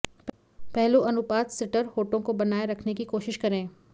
पहलू अनुपात सिटर होठों को बनाए रखने की कोशिश करें